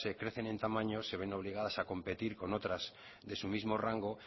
crecen en tamaño se ven obligadas a competir con otras de su mismo rango